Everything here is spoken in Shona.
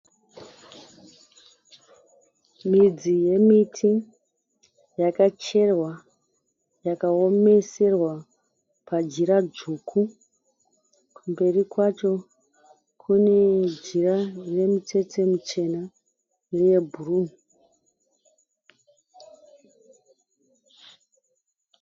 Midzi yemiti yakacherwa, yakaomeserwa pajira dzvuku. Mberi kwacho kune jira rine mitsetse michena neyebhuruu.